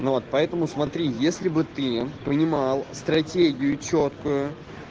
ну вот поэтому смотри если бы ты понимал стратегию чёткую